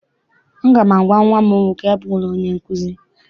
Aga m agwa nnwa m nwoke, abụla onye nkụzi!